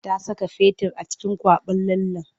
Ta saka fetur a cikin kwaɓin lallen.